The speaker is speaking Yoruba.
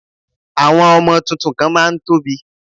Àwọn ọmọ tuntun kan má a ń tóbi